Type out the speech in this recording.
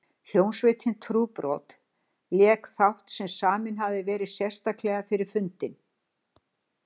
Hljómsveitin Trúbrot lék þátt sem saminn hafði verið sérstaklega fyrir fundinn.